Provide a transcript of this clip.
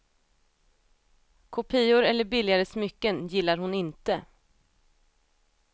Kopior eller billigare smycken gillar hon inte.